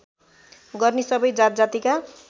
गर्ने सबै जातजातिका